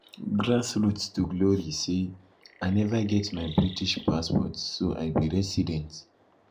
grassroots to glory say "i neva get my british passport so i be resident